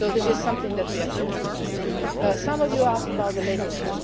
So this is something that we have to maintain. Some of you asked about the labelling.